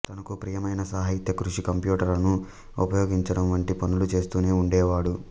తనకు ప్రియమైన సాహిత్య కృషి కంప్యూటరును ఉపయోగించడం వంటి పనులు చేస్తూనే ఉండేవాడు